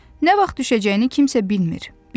Nə vaxt düşəcəyini kimsə bilmir.